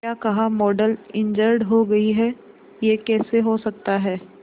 क्या कहा model injured हो गई है यह कैसे हो सकता है